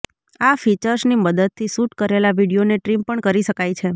આ ફીચર્સની મદદથી શૂટ કરેલાં વીડિયોને ટ્રિમ પણ કરી શકાય છે